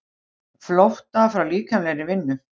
Flótta frá líkamlegri vinnu.